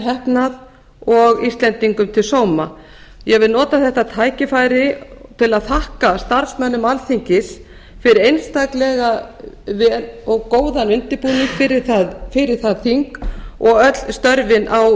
heppnað og íslendingum til sóma ég vil nota þetta tækifæri til að þakka starfsmönnum alþingis fyrir einstaklega góðan undirbúning fyrir það þing og öll störfin